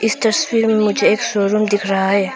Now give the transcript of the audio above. तस्वीर में मुझे एक शोरूम दिख रहा है।